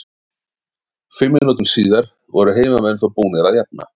Fimm mínútum síðar voru heimamenn þó búnir að jafna.